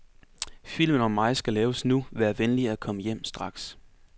Filmen om mig skal laves nu, vær venlig at komme hjem straks.